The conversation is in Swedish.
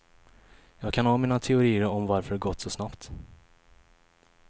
Jag kan ha mina teorier om varför det gått så snabbt.